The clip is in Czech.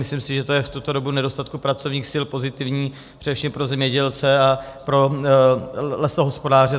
Myslím si, že to je v tuto dobu nedostatku pracovních sil pozitivní především pro zemědělce a pro lesohospodáře.